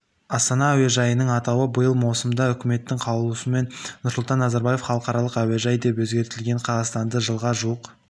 астана әуежайының атауы биыл маусымда үкіметтің қаулысымен нұрсұлтан назарбаев халықаралық әуежайы деп өзгертілген қазақстанды жылға жуық